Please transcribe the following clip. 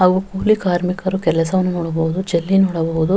ಅವು ಕೂಲಿ ಕಾರ್ಮಿಕರು ಕೆಲಸವನ್ನು ನೋಡಬಹುದು ಜಲ್ಲಿ ನೋಡಬಹುದು.